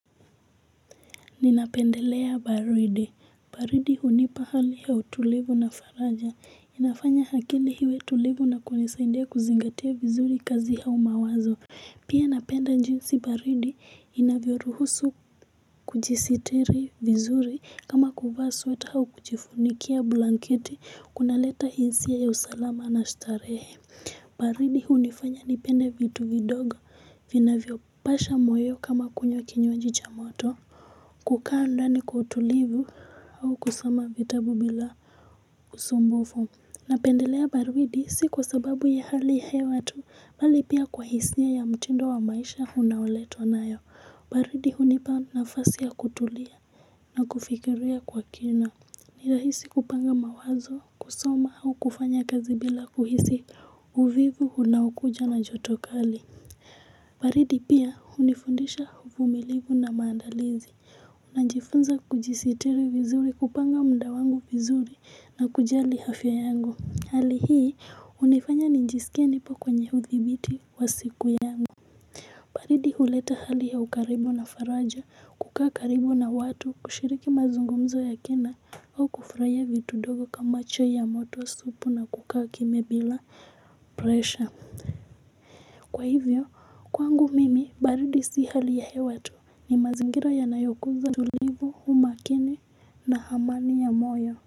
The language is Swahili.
Ninapendelea baridi. Baridi hunipa hali ya utulivu na faraja inafanya akili iwe tulivu na kunisaidia kuzingatia vizuri kazi au mawazo. Pia napenda jinsi baridi inavyoruhusu kujisitiri vizuri kama kuvaa sweta au kujifunikia blanketi kunaleta hisia ya usalama na starehe. Baridi hunifanya nipende vitu vidogo vinavyopasha moyo kama kunywa kinywaji cha moto. Kukaa ndani kwa utulivu au kusoma vitabu bila usumbufu. Napendelea baridi si kwa sababu ya hali hewa tu bali pia kwa hisia ya mtindo wa maisha unaoletwa nayo Baridi hunipa nafasi ya kutulia na kufikiria kwa kina. Ni rahisi kupanga mawazo kusoma au kufanya kazi bila kuhisi uvivu unaokuja na joto kali. Baridi pia hunifundisha ufumilivu na maandalizi. Najifunza kujisitiri vizuri kupanga muda wangu vizuri na kujali afya yangu. Hali hii hunifanya nijisikia nipo kwenye hudhibiti wa siku yangu. Baridi huleta hali ya ukaribu na faraja kukaa karibu na watu kushiriki mazungumzo ya kina au kufurahia vitu ndogo kama chai ya moto supu na kukaa kimya bila pressure kwa hivyo kwangu mimi baridi si hali ya hewa tu ni mazingira yanayokuza utulivu umakini na amani ya moyo.